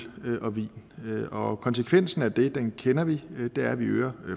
og vin og konsekvensen af det kender vi det er at vi øger